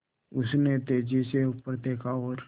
उसने तेज़ी से ऊपर देखा और